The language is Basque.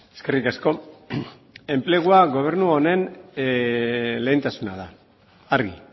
eskerrik asko enplegua gobernu honen lehentasuna da argi